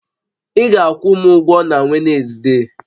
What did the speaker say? Ị ga-akwụ m ụgwọ na Wezde!